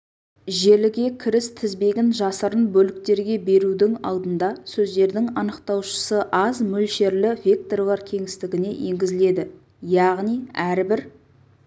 желіге кіріс тізбегін жасырын бөліктерге берудің алдында сөздердің анықтаушысы аз мөлшерлі векторлар кеңістігіне енгізіледі яғни әрбір